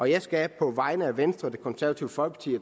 jeg skal på vegne af venstre det konservative folkeparti